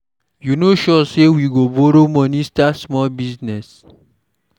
You no sure say we no go borrow money start small business.